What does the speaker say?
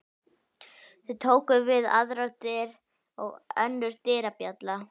Þar tóku við aðrar dyr og önnur dyrabjalla.